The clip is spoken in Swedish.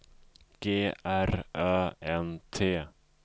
G R Ö N T